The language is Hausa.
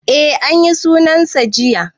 E anyi sunan sa jiya